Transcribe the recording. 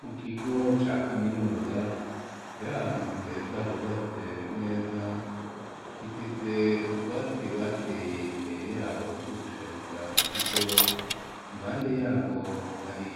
Mu kigo ca kaminuza, kiri ahantu heza hubatse neza, gifise utwatsi bateye imbere y'aho two gushariza ikigo, impande y'aho hari